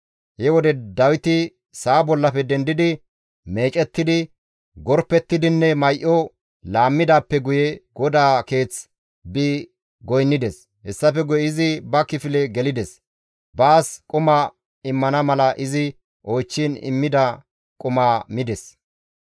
He wode Dawiti sa7a bollafe dendidi, meecettidi, gorpettidinne may7o laammidaappe guye GODAA keeth bi goynnides. Hessafe guye izi ba kifile gelides; baas quma immana mala izi oychchiin immida quma mides.